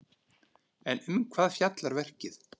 En um hvað fjallar verkið?